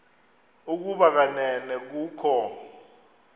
ukuba kanene kukho